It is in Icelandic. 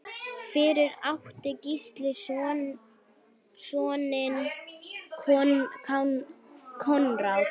Fyrir átti Gísli soninn Konráð.